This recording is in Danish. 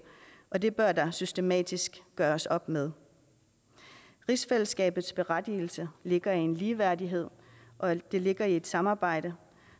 og det bør der systematisk gøres op med rigsfællesskabets berettigelse ligger i en ligeværdighed og det ligger i et samarbejde